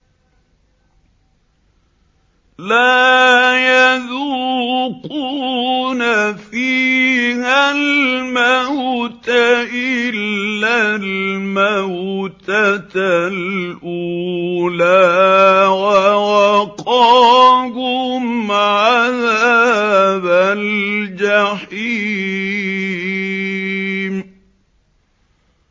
لَا يَذُوقُونَ فِيهَا الْمَوْتَ إِلَّا الْمَوْتَةَ الْأُولَىٰ ۖ وَوَقَاهُمْ عَذَابَ الْجَحِيمِ